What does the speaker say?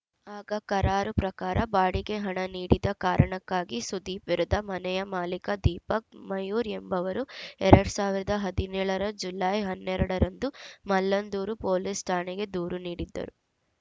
ಆಗ ಕರಾರು ಪ್ರಕಾರ ಬಾಡಿಗೆ ಹಣ ನೀಡದ ಕಾರಣಕ್ಕಾಗಿ ಸುದೀಪ್‌ ವಿರುದ್ಧ ಮನೆಯ ಮಾಲೀಕ ದೀಪಕ್‌ ಮಯೂರ್‌ ಎಂಬವರು ಎರಡ್ ಸಾವಿರದ ಹದಿನೇಳ ರ ಜುಲೈ ಹನ್ನೆರಡ ರಂದು ಮಲ್ಲಂದೂರು ಪೊಲೀಸ್‌ ಠಾಣೆಗೆ ದೂರು ನೀಡಿದ್ದರು